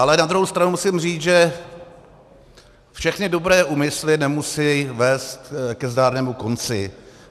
Ale na druhou stranu musím říct, že všechny dobré úmysly nemusejí vést ke zdárnému konci.